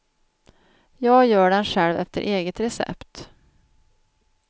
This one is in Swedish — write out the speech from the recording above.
Jag gör den själv efter eget recept.